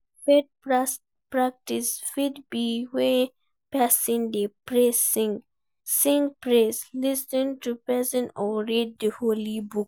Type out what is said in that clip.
Faith practice fit be when persin de pray, sing praise, lis ten to preaching or read di holy book